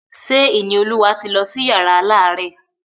Ṣé Ìníolúwa ti lọ sí yàrá alárẹ̀?